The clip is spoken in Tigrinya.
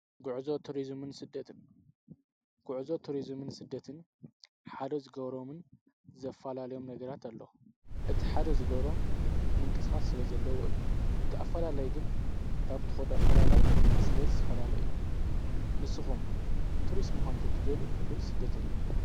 ጕዕዞ ቱርዝምን ስደትን ሓደ ዝገሮምን ዘፋላለዮም ነገራት ኣለ እቲ ሓደ ዝገሮም ምንቅሥኻት ስለ ዘለዎ እዩ ተኣፈላላይ ግን ካብቶዎዶ ኣፈላላይ ስለ ዝፈላለ እዩ ንስኹም ቱርስ መዃንቱ ትደልዩወይ ስደተኛ።